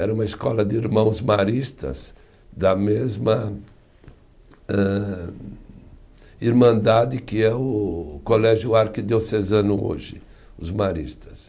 Era uma escola de irmãos maristas da mesma âh irmandade que é o Colégio Arquidiocesano hoje, os maristas.